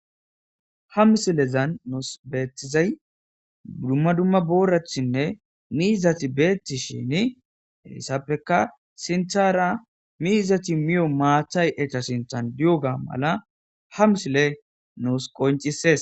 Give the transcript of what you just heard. Ha misilezan nus beetizay duma duma booratinne miizati beetishin hessappeka miizati miyo maatay eta sinthan diyoga mala ha misiley nus qoncisees.